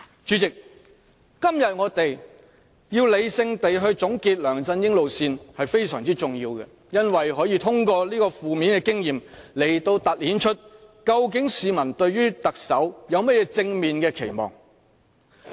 主席，我們今天要理性地總結梁振英路線，這是非常重要的，因為可以通過負面的經驗來凸顯市民對特首有甚麼正面的期望。